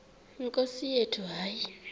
nkosi yethu hayi